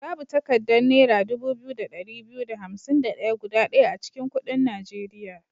Babu takaddar naira dubu biyu da ɗari biyu da hansim da ɗaya guda ɗaya a cikin kuɗin Nigeria.